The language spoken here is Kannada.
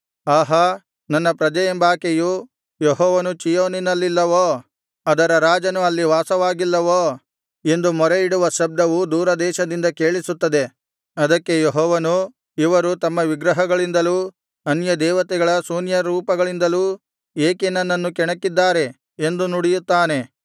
ಆಹಾ ನನ್ನ ಪ್ರಜೆಯೆಂಬಾಕೆಯು ಯೆಹೋವನು ಚೀಯೋನಿನಲ್ಲಿಲ್ಲವೋ ಅದರ ರಾಜನು ಅಲ್ಲಿ ವಾಸವಾಗಿಲ್ಲವೋ ಎಂದು ಮೊರೆಯಿಡುವ ಶಬ್ದವು ದೂರದೇಶದಿಂದ ಕೇಳಿಸುತ್ತದೆ ಅದಕ್ಕೆ ಯೆಹೋವನು ಇವರು ತಮ್ಮ ವಿಗ್ರಹಗಳಿಂದಲೂ ಅನ್ಯದೇವತೆಗಳ ಶೂನ್ಯರೂಪಗಳಿಂದಲೂ ಏಕೆ ನನ್ನನ್ನು ಕೆಣಕಿದ್ದಾರೆ ಎಂದು ನುಡಿಯುತ್ತಾನೆ